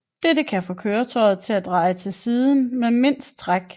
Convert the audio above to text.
Dette kan få køretøjet til at dreje til siden med mindst træk